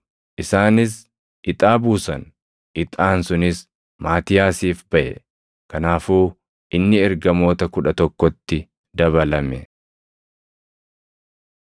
Isaanis ixaa buusan; ixaan sunis Maatiyaasiif baʼe. Kanaafuu inni ergamoota kudha tokkotti dabalame.